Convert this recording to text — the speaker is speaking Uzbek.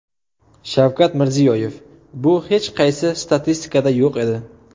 Shavkat Mirziyoyev: Bu hech qaysi statistikada yo‘q edi.